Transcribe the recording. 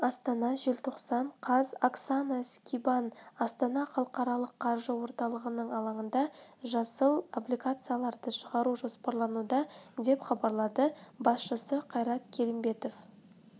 астана желтоқсан қаз оксана скибан астана халықаралық қаржы орталығының алаңында жасыл облигацияларды шығару жоспарлануда деп хабарлады басшысы қайрат келімбетов